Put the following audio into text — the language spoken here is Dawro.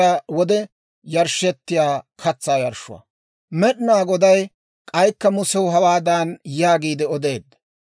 Med'inaa Goday k'aykka Musew hawaadan yaagiide odeedda;